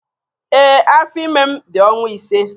Ee, afọ ime m dị ọnwa ise.